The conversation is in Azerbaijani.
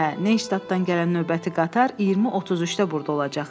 Hə, Neyştatdan gələn növbəti qatar 20:33-də burda olacaq.